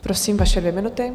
Prosím, vaše dvě minuty.